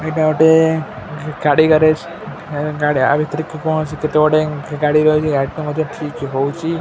ଏଇଟା ଗୋଟେ ଗ୍-ଗାଡ଼ି ଗ୍ୟାରେଜ୍ ହେଁ ଗାଡି ୟା ଭିତରରେ କି କ'ଣ ଅଛି କେତେ ଙ୍ଗୁଡେ ଗାଡ଼ି ରହିଚି ଗାଡ଼ି ଟା ମଧ୍ୟ ଠିକ୍ ହଉଚି ।